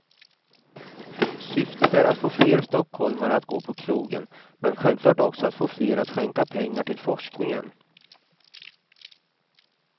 Syftet är att få fler stockholmare att gå på krogen, men självklart också att få fler att skänka pengar till forskningen.